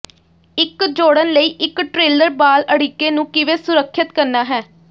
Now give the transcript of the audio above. ਇੱਕ ਜੋੜਨ ਲਈ ਇੱਕ ਟ੍ਰੇਲਰ ਬਾਲ ਅੜਿੱਕੇ ਨੂੰ ਕਿਵੇਂ ਸੁਰੱਖਿਅਤ ਕਰਨਾ ਹੈ